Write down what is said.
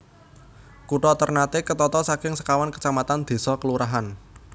Kutha Ternate ketata saking sekawan kecamatan désa/kelurahan